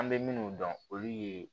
An bɛ minnu dɔn olu ye